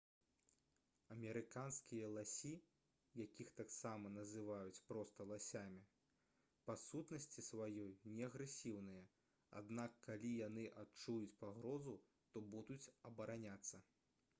амерыканскія ласі якіх таксама называюць проста ласямі па сутнасці сваёй не агрэсіўныя аднак калі яны адчуюць пагрозу то будуць абараняцца